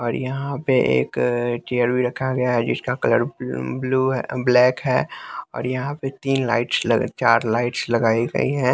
और यहां पे एक चेयर भी रखा गया है जिसका कलर ब्लू है ब्लैक है और यहां पे तीन लाइट्स चार लाइट्स लगाई गई हैं।